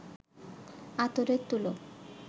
আতরের তুলো